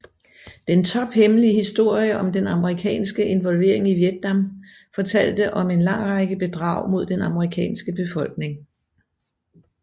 Den tophemmelige historie om den amerikanske involvering i Vietnam fortalte om en lang række bedrag mod den amerikanske befolkning